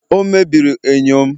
o mebiri enyo m